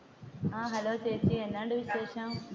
ആ ഹലോ ചേച്ചി എന്നായുണ്ട് വിശേഷം?